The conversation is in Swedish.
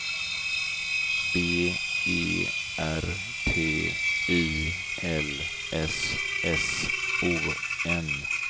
B E R T I L S S O N